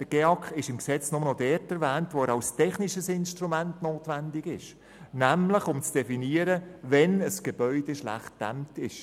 Der GEAK ist im Gesetz nur noch dort erwähnt, wo er als technischesInstrument notwendig ist, nämlich um zu definieren, wann ein Gebäude schlecht gedämmt ist.